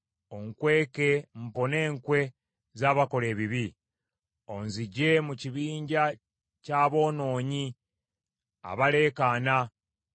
Onkweke mpone enkwe z’abakola ebibi, onzigye mu kibinja ky’aboonoonyi, abaleekaana